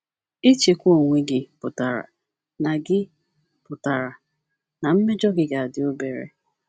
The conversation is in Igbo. Ịchịkwa onwe gị pụtara na gị pụtara na mmejọ gị ga - adị obere.